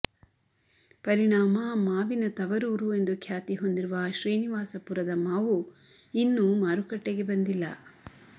ಪರಿಣಾಮ ಮಾವಿನ ತವರೂರು ಎಂದು ಖ್ಯಾತಿ ಹೊಂದಿರುವ ಶ್ರೀನಿವಾಸಪುರದ ಮಾವು ಇನ್ನೂ ಮಾರುಕಟ್ಟೆಗೆ ಬಂದಿಲ್ಲ